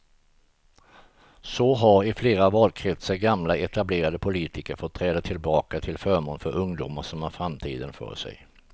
Så har i flera valkretsar gamla etablerade politiker fått träda tillbaka till förmån för ungdomar som har framtiden för sig.